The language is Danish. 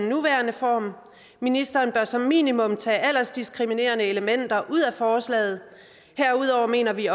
nuværende form ministeren bør som minimum tage aldersdiskriminerende elementer ud af forslaget herudover mener vi